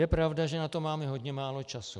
Je pravda, že na to máme hodně málo času.